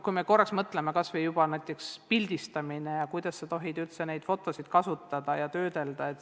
Mõtleme korraks kas või näiteks pildistamise peale ja sellele, kuidas neid fotosid tohib üldse kasutada ja töödelda.